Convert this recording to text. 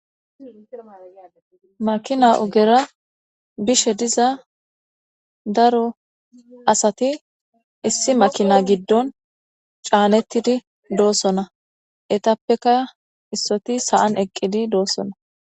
makina ogera bishe diza daro asati issi makina giddon caanettidi dosona etappeka issoti sa'an eqqidi dosona.